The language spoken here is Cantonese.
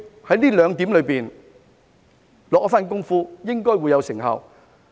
在這兩點下一番工夫，應該會有成效。